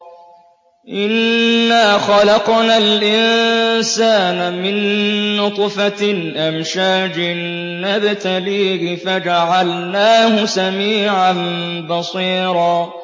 إِنَّا خَلَقْنَا الْإِنسَانَ مِن نُّطْفَةٍ أَمْشَاجٍ نَّبْتَلِيهِ فَجَعَلْنَاهُ سَمِيعًا بَصِيرًا